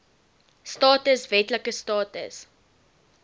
status wetlike status